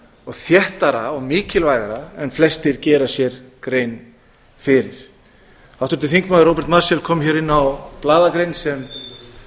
og þéttara og mikilvægara en flestir gera sér grein fyrir háttvirtur þingmaður róbert marshall kom hér inn á blaðagrein sem